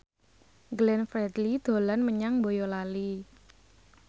Glenn Fredly dolan menyang Boyolali